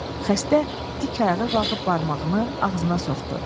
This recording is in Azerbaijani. Xəstə dik ayağa qalxıb barmağını ağzına soxdu.